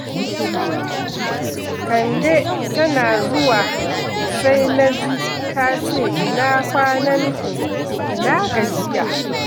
Kande tana zuwa sai na ji ta ce ina kwananku, ina gajiya.